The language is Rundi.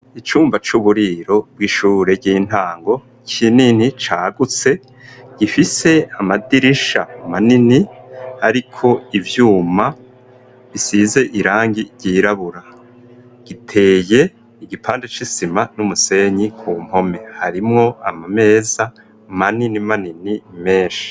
Icumba c'uburiro bw'ishure ry'intango kinini cagutse gifise amadirisha manini ariko ivyuma bisize irangi ry'irabura giteye igipande c'isima n'umusenyi ku mpome harimwo amameza manini manini menshi.